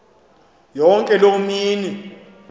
yonke loo mini